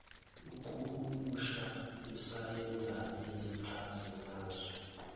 ukuhumusha isayenze yezichazimazwi